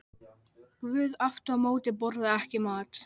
Guð aftur á móti borðar ekki mat.